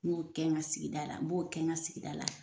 N b'o kɛ n ka sigida la n b'o kɛ n ka sigida la.